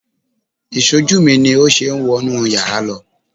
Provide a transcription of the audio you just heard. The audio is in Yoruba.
Ìṣojú mi ni ó ṣe wọ inú yàrá lọ